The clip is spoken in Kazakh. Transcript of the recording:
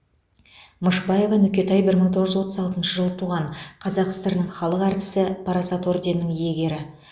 мышбаева нүкетай бір мың тоғыз жүз отыз алтыншы жылы туған қазақ сср інің халық әртісі парасат орденінің иегері